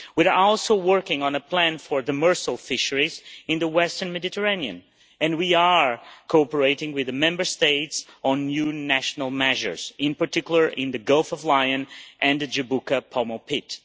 We are also working on a plan for demersal fisheries in the western Mediterranean and we are cooperating with the Member States on new national measures, in particular in the Gulf of Lion and the Jabuka Pomo pit.